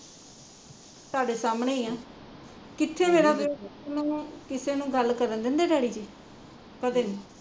ਤੁਹਾਡੇ ਸਾਹਮਣੇ ਆ ਕਿੱਥੇ ਮੇਰਾ ਪੁੱਤ ਨੂ ਕਿਸੀ ਨੇ ਗੱਲ ਕਰਨ ਦਿੰਦੇ ਡੈਡੀ ਜੀ ਤੁਹਾਡੇ ਸਾਹਮਣੇ ਈ ਆ